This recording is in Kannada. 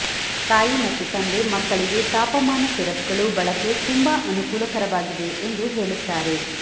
ತಾಯಿ ಮತ್ತು ತಂದೆ ಮಕ್ಕಳಿಗೆ ತಾಪಮಾನ ಸಿರಪ್ಗಳು ಬಳಕೆ ತುಂಬಾ ಅನುಕೂಲಕರವಾಗಿದೆ ಎಂದು ಹೇಳುತ್ತಾರೆ